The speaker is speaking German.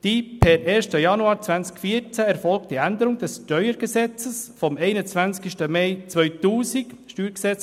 Die per 1. Januar 2014 erfolgte Änderung des Steuergesetzes vom 21. Mai 2000 (StG […];